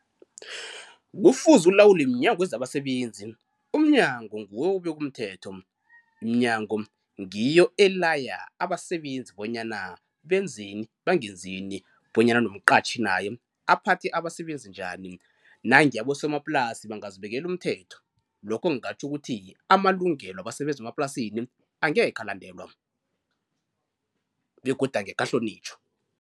Kufuze ulawulwe mNyango wezabaSebenzi. Umnyango nguwo obeka umthetho. Iminyango ngiyo elaya abasebenzi bonyana benzeni bangenzini bonyana nomqatjhi naye aphathe abasebenzi njani nange abosomaplasi bangazibekela umthetho lokho kungatjho ukuthi amalungelo wabasebenzi bemaplasini angekhe alandelwa begodu angekhe ahlonitjhwa.